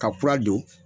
Ka kura don